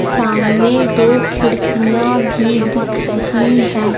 सामने दो खिड़कियां भी दिख रही हैं।